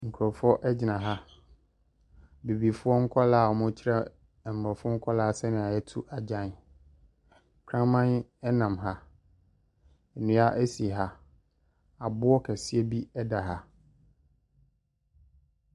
Nkkrɔfoɔ ɛgyina ha, bibifoɔ nkɔlaa a ɔmoo kyerɛ mmrɔfo nkɔlaa sɛnea yɛto agyan. Kraman ɛnam ha, nnua esi ha, aboɔ kɛseɛ bi ɛda ha.